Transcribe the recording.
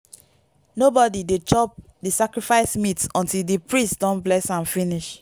nobody dey chop the sacrifice meat until di priest don bless am finish.